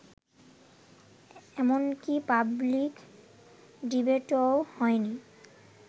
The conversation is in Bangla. এমনকি পাবলিক ডিবেটও হয়নি